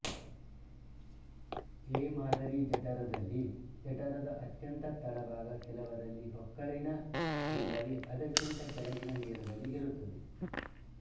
A ಮಾದರಿ ಜಠರದಲ್ಲಿ ಜಠರದ ಅತ್ಯಂತ ತಳಭಾಗ ಕೆಲವರಲ್ಲಿ ಹೊಕ್ಕಳಿನ ಇಲ್ಲವೆ ಅದಕ್ಕಿಂತ ಕೆಳಗಿನ ನೇರದಲ್ಲಿ ಇರುತ್ತದೆ